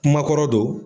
Kumakɔrɔ don